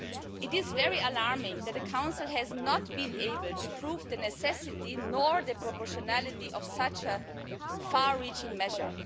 It is alarming that the Council has not been able to prove the necessity or the proportionality of such a far reaching measure.